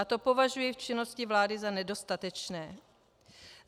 A to považuji v činnosti vlády za nedostatečné.